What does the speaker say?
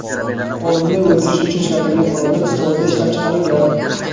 olimni o‘ldirish uchun ishlatilgan qurollar "Isroilda ishlab chiqarilgan".